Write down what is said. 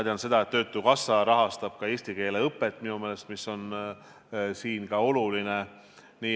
Töötukassa rahastab minu meelest ka eesti keele õpet, mis on oluline.